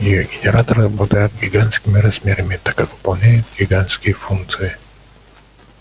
её генераторы обладают гигантскими размерами так как выполняют гигантские функции